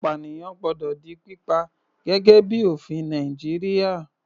Apànìyàn gbọ́dọ̀ di pípa, gẹ́gẹ́ bíi ofin Nàìjíríà.